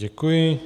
Děkuji.